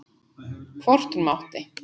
Hvort hún mátti!